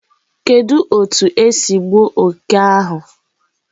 Kedu otu esi gbuo oke oke ahu?